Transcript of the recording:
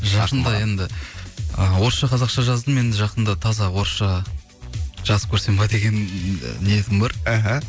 жақында енді ы орысша қазақша жаздым енді жақында таза орысша жазып көрсем ба деген ы ниетім бар іхі